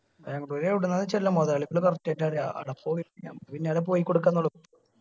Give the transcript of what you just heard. ബാംഗ്ലൂർ എവിടുന്നാ വെച്ച അല്ല മുതലാളിക്ക് correct ആയിട്ടറിയ ആട പോയി, പിന്നാലെ പോയി കൊടുക്കാന്നുള്ളു